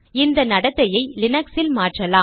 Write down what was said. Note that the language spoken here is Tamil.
இந்த நடத்தையை லினக்ஸில் மாற்றலாம்